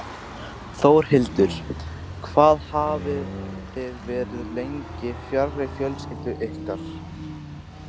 Þórhildur: Hvað hafið þið verið lengi fjarri fjölskyldu ykkar?